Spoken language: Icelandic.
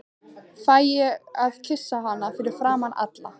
Fæ ég að kyssa hana fyrir framan alla?